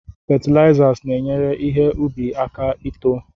Fetilaiza na-enyere ihe ubi aka ito.